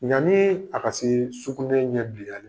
Yani a ka se sukunɛ ɲɛ bileyali man.